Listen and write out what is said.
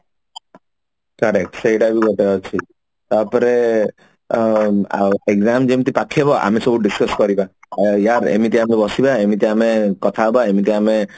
correct ସେଇଟା ବି ଗୋଟେ ଅଛି ତାପରେ ଅ ଉଁ exam ଯେମତି ପାଖେଇବ ଆମେ ସବୁ discuss କରିବା ୟାର ଅମିତି ଆମେ ବସିବା ଅମିତି ଆମେ କଥା ହେବା ଏମିତି ଆମେ